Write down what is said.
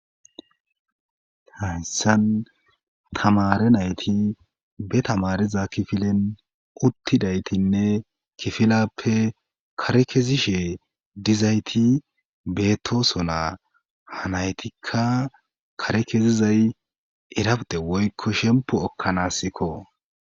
haysan tamare nayti be tamariza kifilen uttidaytinne kifilappe kare kezishe dizayti bettoso naa hanaytikka kare kezizay irapite woykko shempu ekkanaasikko